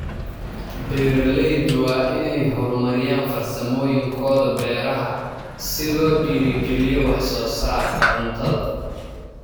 Beeraleyda waa inay horumariyaan farsamooyinkooda beeraha si loo dhiirrigeliyo wax soo saarka cuntada.